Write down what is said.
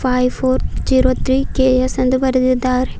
Five four zero three K S ಎಂದು ಬರೆದಿದ್ದಾರೆ.